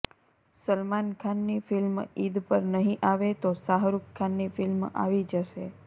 સલમાન ખાનની ફિલ્મ ઈદ પર નહીં આવે તો શાહરુખ ખાનની ફિલ્મ આવી જશે